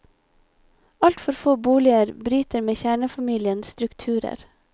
Alt for få boliger bryter med kjernefamiliens strukturer.